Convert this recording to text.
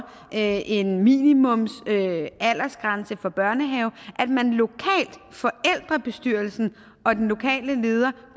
lave en minimumsaldersgrænse for børnehaven forældrebestyrelsen og den lokale leder